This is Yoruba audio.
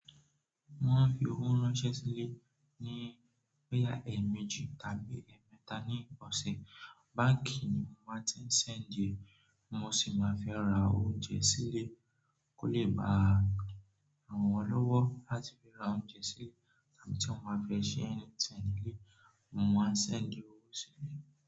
Mo maa n ń fi owó ránṣẹ́ sílé ní boyà ẹ̀ẹ̀mejì tàbí ẹ̀ẹ̀mẹta ní ọ̀sẹ̀. Báǹkì ni mo máa ń ti ń ṣẹ̀ndí, mo sì máa fi n ra oúnjẹ sílé kó lè bá àwọn ọlọ́wọ́ láti fi ra oúnjẹ sílé, tàbí tí mo máa fẹ́ ṣe àǹtì ń díẹ̀, mo máa ṣẹ̀ ń díẹ̀ owó sílé.